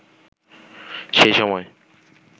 সেই সময়